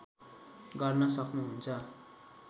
गर्न सक्नुहुन्छ